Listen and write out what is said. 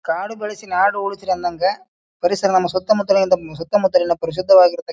ಕಾಡು ಬೆಳೆಸಿ ನಾಡು ಉಳಿಸಿ ಅಂದಂಗ ಪರಿಸರ ನಮ್ಮ ಸುತ್ತ ಮುತ್ತಲಿನ ಸುತ್ತ ಮುತ್ತಲಿನ ಪರಿಶುದ್ದವಾಗಿರಕತ್ --